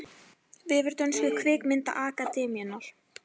Vefur dönsku kvikmyndaakademíunnar